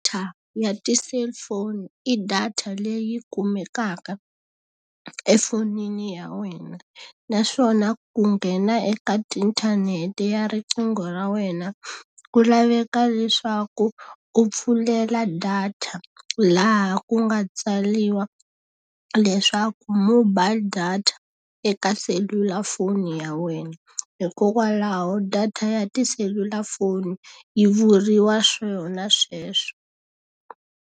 ya ti-cellphone i data leyi kumekaka efonini ya wena. Naswona ku nghena eka tiinthanete ya riqingho ra wena ku laveka leswaku u pfulela data laha ku nga tsariwa leswaku mobile data eka selulafoni ya wena. Hikokwalaho data ya tiselulafoni yi vuriwa swona sweswo.